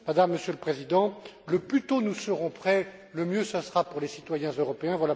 Madame, Monsieur le Président, plus tôt nous serons prêts, mieux ce sera pour les citoyens européens.